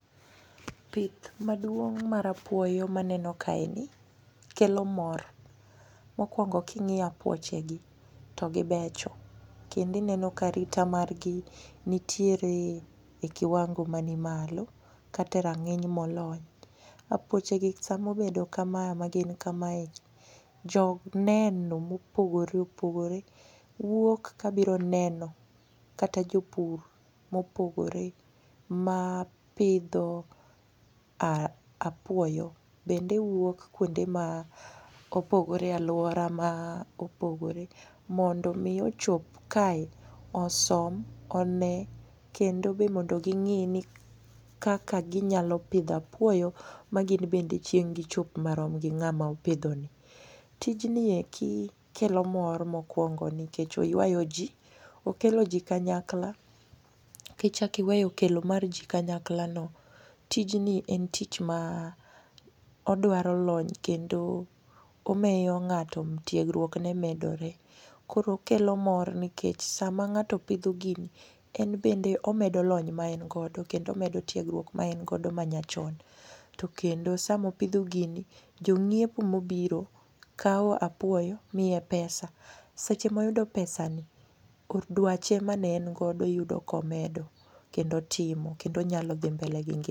Pith maduong' mar apuoyo maneno kaeni kelo mor. Mokwongo king'iyo apuochegi togibecho kendo ineno karita margi nitiere e kiwango manimalo kata e rang'iny molony. Apuochego samobedo kama magin kamae joneno mopogore opogore wuok kabiro neno kata jopur mopogore mapidho apuoyo bende wuok kuonde ma opogore e alwora ma opogore mondo omi ochop kae osom, one kendo be mondo ging'i ni kaka ginyalo pidho apuoyo maginbende chieng' gichop marom gi ng'ama opidhoni. Tijnieki kelo mor kmokwongo nikech oywayo ji okelo ji kanyakla kichako iweyo kelo mar ji kanyaklano tijni en tich ma odwaro lony kendo omiyo ng'ato tiegruokne medore. Koro okelo mor nikech sama ng'ato pidho gini enbende omedo lony maengodo kendo omedo tiegruok maengodo manyachon to kendo samopidho gini jong'iepo mobiro kawo apuoyo miye pesa, seche moyudo pesa ni dwache mane engodo yudo komedo kendo otimo kendo onyalo dhi mbele gi ngima.